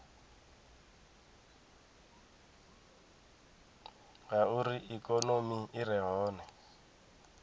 ngauri ikonomi i re hone